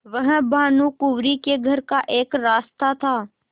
वह भानुकुँवरि के घर का एक रास्ता था